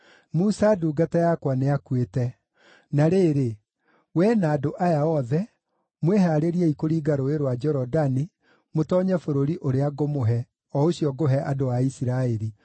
“Musa ndungata yakwa nĩakuĩte. Na rĩrĩ, wee na andũ aya othe, mwĩhaarĩriei kũringa Rũũĩ rwa Jorodani mũtoonye bũrũri ũrĩa ngũmũhe, o ũcio ngũhe andũ a Isiraeli.